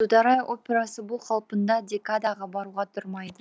қаулы дударай операсы бұл қалпында декадаға баруға тұрмайды